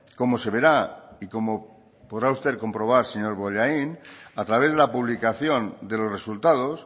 como se verá y como podrá usted comprobar señor bollain a través de la publicación de los resultados